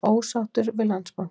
Ósáttur við Landsbankann